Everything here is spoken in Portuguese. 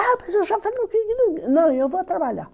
Ah, mas eu já falei... Não, eu vou trabalhar.